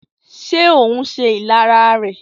Ṣé ohùn se ìlara rẹ̀?